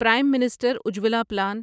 Prem minister Ujjwala plan